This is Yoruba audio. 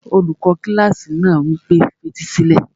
Olùkọ́ kílásì náà wí pé, fetí sílẹ̀!